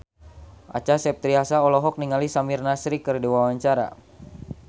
Acha Septriasa olohok ningali Samir Nasri keur diwawancara